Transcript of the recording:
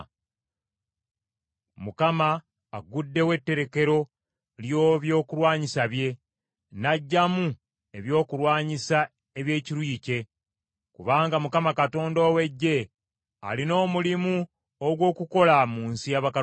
Mukama agguddewo etterekero ly’ebyokulwanyisa bye naggyamu ebyokulwanyisa eby’ekiruyi kye, kubanga Mukama Katonda ow’Eggye alina omulimu ogw’okukola mu nsi y’Abakaludaaya.